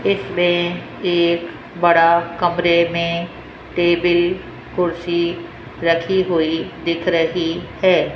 इसमें एक बड़ा कमरे में टेबल कुर्सी रखी हुई दिख रही है।